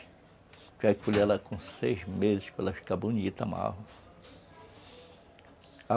Já colhe ela com seis meses para ela ficar bonita, a malva.